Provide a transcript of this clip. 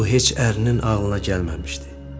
Bu heç ərinin ağlına gəlməmişdi.